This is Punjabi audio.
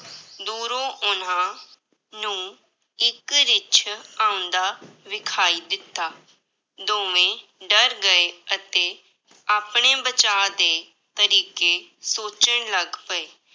ਦੂਰੋਂ ਉਹਨਾਂ ਨੂੰ ਇੱਕ ਰਿੱਛ ਆਉਂਦਾ ਵਿਖਾਈ ਦਿੱਤਾ, ਦੋਵੇਂ ਡਰ ਗਏ ਅਤੇ ਆਪਣੇ ਬਚਾਅ ਦੇ ਤਰੀਕੇ ਸੋਚਣ ਲੱਗ ਪਏ।